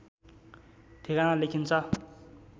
ठेगाना लेखिन्छ